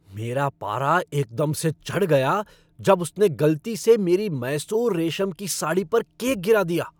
मेरे पारा एकदम से चढ़ गया जब उसने गलती से मेरी मैसूर रेशम की साड़ी पर केक गिरा दिया।